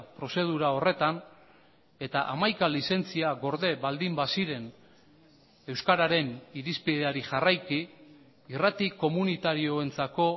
prozedura horretan eta hamaika lizentzia gorde baldin baziren euskararen irizpideari jarraiki irrati komunitarioentzako